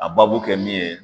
A babu kɛ min ye